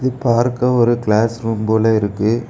பார்க்க ஒரு class room போல இருக்கு.